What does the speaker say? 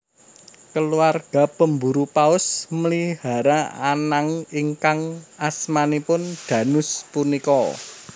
Keluarga pemburu paus mlihara anank ingkang asmanipun Dhanus punika